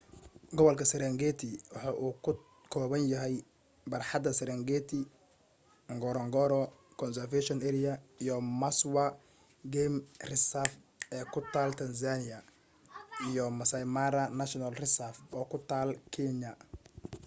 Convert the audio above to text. gobolka serengeti waxa uu ka kooban yahay barxadda sarengeti ngorongoro conservation area iyo maswa game reserve ee ku taal tanzania iyo maasai mara national reserve oo ku taal kenya